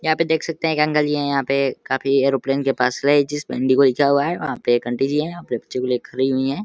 यहाँ पे देख सकते हैं एक अंकल जी है। यहाँ पे काफी एरोप्लेन के पास है। जिसपे इंडिगो लिखा हुआ है। वहां पे एक आंटी जी हैं। वहाँ पे एक बच्चे को लेके खड़ी हुई हैं।